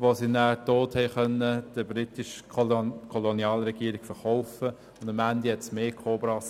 die sie dann der britischen Kolonialregierung verkaufen konnten, und am Schluss gab es mehr Kobras.